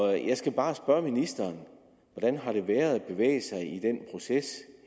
jeg skal bare spørge ministeren hvordan har det været at bevæge sig i den proces